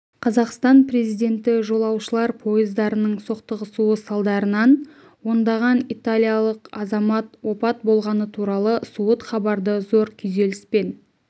қазақстан президенті жолаушылар пойыздарының соқтығысуы салдарынан ондаған италиялық азамат опат болғаны туралы суыт хабарды зор күйзеліспен